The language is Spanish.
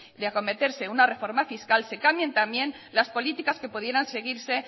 de acometerse una reforma fiscal se cambien también las políticas que pudieran seguirse